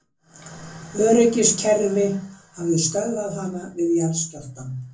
Öryggiskerfi hafi stöðvað hana við jarðskjálftann